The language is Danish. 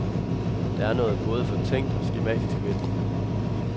Der er noget både fortænkt og skematisk ved den.